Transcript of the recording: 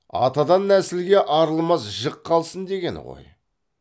атадан нәсілге арылмас жік қалсын дегені ғой